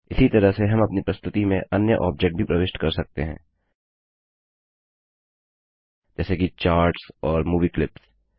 इसी तरह से हम अपनी प्रस्तुति में अन्य ऑब्जेक्ट भी प्रविष्ट कर सकते हैं जैसे कि चार्टस और मूवी क्लिप्स